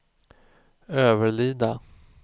Överlida